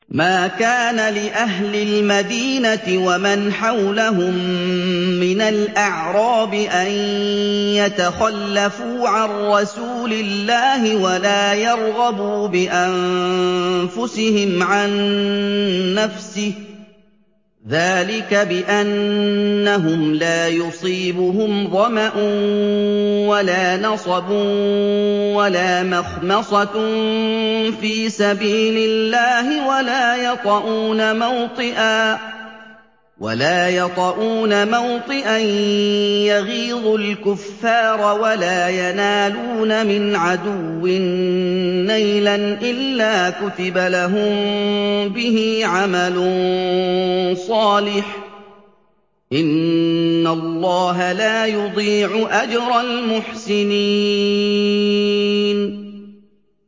مَا كَانَ لِأَهْلِ الْمَدِينَةِ وَمَنْ حَوْلَهُم مِّنَ الْأَعْرَابِ أَن يَتَخَلَّفُوا عَن رَّسُولِ اللَّهِ وَلَا يَرْغَبُوا بِأَنفُسِهِمْ عَن نَّفْسِهِ ۚ ذَٰلِكَ بِأَنَّهُمْ لَا يُصِيبُهُمْ ظَمَأٌ وَلَا نَصَبٌ وَلَا مَخْمَصَةٌ فِي سَبِيلِ اللَّهِ وَلَا يَطَئُونَ مَوْطِئًا يَغِيظُ الْكُفَّارَ وَلَا يَنَالُونَ مِنْ عَدُوٍّ نَّيْلًا إِلَّا كُتِبَ لَهُم بِهِ عَمَلٌ صَالِحٌ ۚ إِنَّ اللَّهَ لَا يُضِيعُ أَجْرَ الْمُحْسِنِينَ